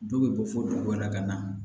Dɔw bɛ bɔ fo dugu wɛrɛ la ka na